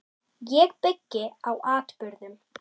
Ég byggi á atburðum.